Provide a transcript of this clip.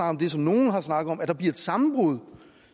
om det som nogle har snakket om nemlig at der bliver et sammenbrud